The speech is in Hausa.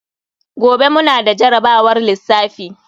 Gobe mu na da jarabawar lissafi.